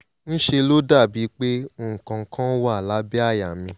ńṣe ló dàbíi pé nǹkan kan wà lábẹ́ àyà mi